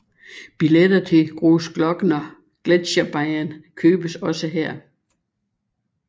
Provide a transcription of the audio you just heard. Billetter til Großglockner Gletscherbahn købes også her